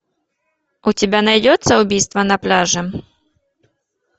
у тебя найдется убийство на пляже